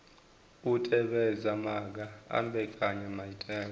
u tevhedza maga a mbekanyamaitele